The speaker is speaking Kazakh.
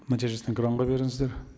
нәтижесін экранға беріңіздер